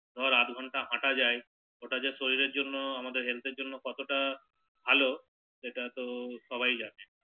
ধর আধা ঘণ্টা হাটা যায় ওটা যে শরীরের জন্য আমাদের হেলথ এর জন্য কতটা ভালো সেটা তো সবাই জানে